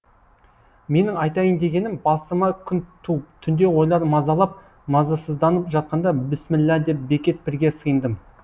менің айтайын дегенім басыма күн туып түнде ойлар мазалап мазасызданып жатқанда бісміллә деп бекет пірге сыйындым